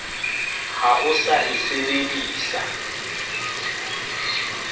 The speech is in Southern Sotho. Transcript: ha o sa se medisa